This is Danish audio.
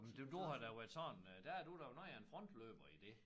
Men det du har da været sådan øh der er du da noget af en frontløber i det